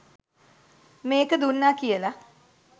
මේක දුන්නා කියලා